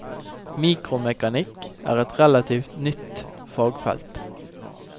Mikromekanikk er et relativt nytt fagfelt.